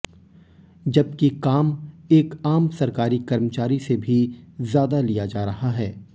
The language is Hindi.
जबकि काम एक आम सरकारी कर्मचारी से भी ज्यादा लिया जा रहा है